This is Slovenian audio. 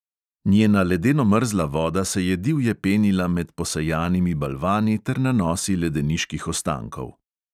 Njena ledeno mrzla voda se je divje penila med posejanimi balvani ter nanosi ledeniških ostankov.